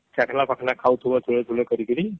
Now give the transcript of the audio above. ଚାଖନା ଫାଖନା ଖାଉଥିବ ଥୁଲେ ଥୁଲେ କରୀକିରି